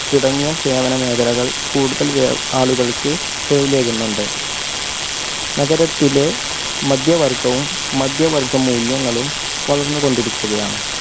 തുടങ്ങിയ സേവന മേഖലകൾ കൂടുതൽ ആളുകൾക്ക് തൊഴിലേകുന്നുണ്ട്. നഗരത്തിലെ മധ്യവർഗവും മധ്യവർഗ്ഗമൂല്യങ്ങളും വളർന്നുകൊണ്ടിരിക്കുകയാണ്.